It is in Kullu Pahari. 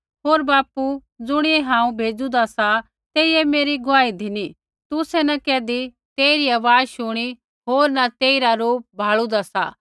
होर बापू ज़ुणियै हांऊँ भेज़ूदा सा तेइयै मेरी गुआही धिनी तुसै न कैधी तेइरी आवाज़ शूणी न तेइरा रूप भाल़ुदा सा